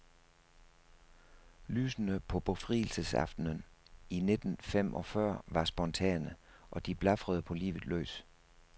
Lysene på befrielsesaftenen i nitten fem og fyrre var spontane, og de blafrede på livet løs.